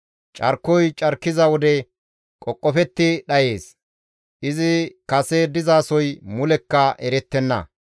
Carkoy carkiza wode qoqofetti dhayees; izi kase dizasoy mulekka erettenna.